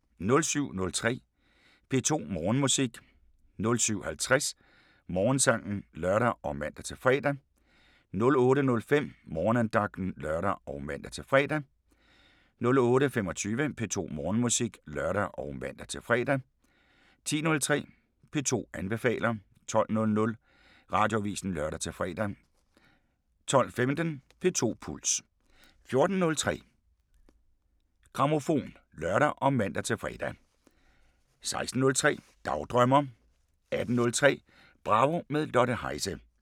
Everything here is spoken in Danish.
07:03: P2 Morgenmusik 07:50: Morgensangen (lør og man-fre) 08:05: Morgenandagten (lør og man-fre) 08:25: P2 Morgenmusik (lør og man-fre) 10:03: P2 anbefaler 12:00: Radioavisen (lør-fre) 12:15: P2 Puls 14:03: Grammofon (lør og man-fre) 16:03: Dagdrømmer 18:03: Bravo – med Lotte Heise